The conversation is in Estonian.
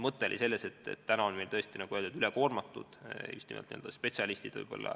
Praegu on meil võib-olla üle koormatud just nimelt spetsialistid.